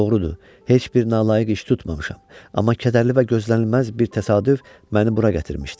Doğrudur, heç bir nalayiq iş tutmamışam, amma kədərli və gözlənilməz bir təsadüf məni bura gətirmişdi.